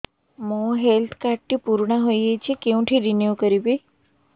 ମୋ health card ଟି ପୁରୁଣା ହେଇଯାଇଛି କେଉଁଠି ରିନିଉ କରିବି